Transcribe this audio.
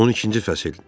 12-ci fəsil.